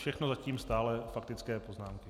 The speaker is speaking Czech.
Všechno zatím stále faktické poznámky.